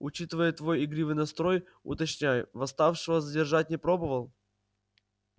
учитывая твой игривый настрой уточняю восставшего задержать не пробовал